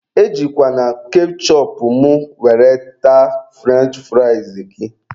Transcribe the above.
E jikwana kechụpụ mụ were taa frụrench fụrịas gị